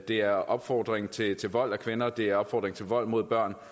det er opfordring til til vold mod kvinder det er en opfordring til vold mod børn